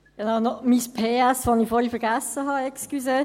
Hier noch mein PS, das ich vorhin vergessen habe, Entschuldigung.